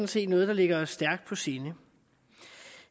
set noget der ligger os stærkt på sinde